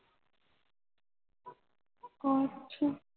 ਕੁਛ